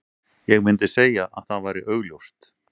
Ég myndi segja að það væri augljóst.